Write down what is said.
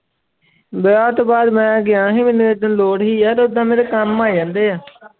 ਵਿਆਹ ਤੋਂ ਬਾਅਦ ਮੈਂ ਗਿਆ ਸੀ ਮੈਨੂੰ ਓਦਣ ਲੋੜ ਸੀ ਯਾਰ ਓਦਾਂ ਮੇਰੇ ਕੰਮ ਆ ਜਾਂਦੇ ਹੈ।